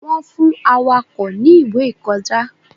Wọn fún Awakọ̀ ni ìwé ìkọjá